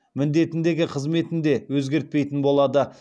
міндетіндегі қызметін де өзгертпейтін болады